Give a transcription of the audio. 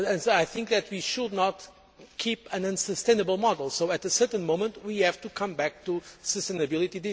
I think that we should not keep an unsustainable model so at a certain moment, we have to come back to sustainability.